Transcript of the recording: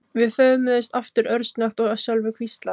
Við föðmuðumst aftur örsnöggt og Sölvi hvíslaði